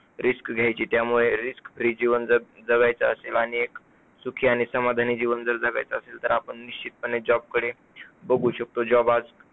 risk घ्यायची? त्यामुळे risk free जीवन जग जगायचं असेल आणि एक सुखी आणि समाधानी जीवन जर जगायचं असेल तर आपण निश्चितपणे job कडे बघू शकतो. job आज